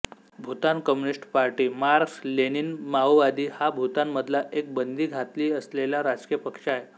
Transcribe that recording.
Bhutan communist party मार्क्सलेनिनमाओवादी हा भूतान मधला एक बंदी घातली असलेला राजकीय पक्ष आहे